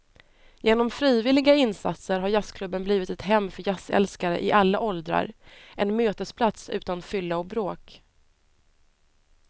Genom frivilliga insatser har jazzklubben blivit ett hem för jazzälskare i alla åldrar, en mötesplats utan fylla och bråk.